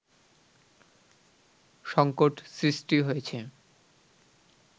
সংকট সৃষ্টি হয়েছে